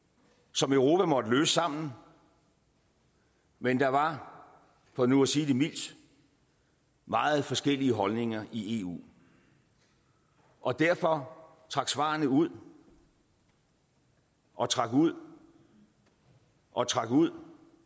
som europa måtte løse sammen men der var for nu at sige det mildt meget forskellige holdninger i eu og derfor trak svarene ud og trak ud og trak ud